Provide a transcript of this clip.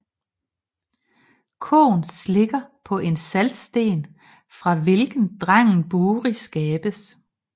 Koen slikker på en saltsten fra hvilken drengen Buri skabes